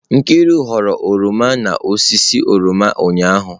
Nkiru ghọrọ oroma n'osisi oroma ụnyahụ